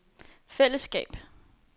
fællesskab